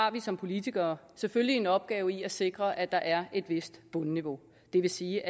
at vi som politikere selvfølgelig har en opgave i at sikre at der er et vist bundniveau det vil sige